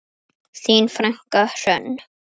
Þín frænka Hrönn.